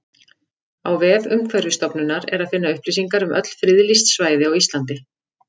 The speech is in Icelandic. Á vef Umhverfisstofnunar er að finna upplýsingar um öll friðlýst svæði á Íslandi.